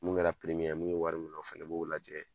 Mun kɛra mun ye wari minɛ o fɛnɛ b'o lajɛ